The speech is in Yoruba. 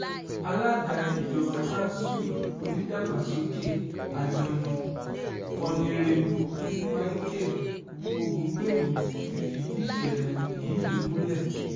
alága ìjọba kanṣu onìdàgbàsókè àjọní onírèbù micheal ògúngbẹ̀mí ti fìdí ìṣẹ̀lẹ̀ yìí múlẹ̀